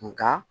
Nka